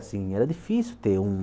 Assim era difícil ter um